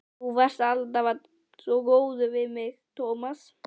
Þú varst alltaf góður við mig, Tómas.